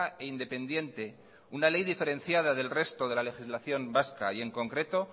e independiente una ley diferenciada del resto de la legislación vasca y en concreto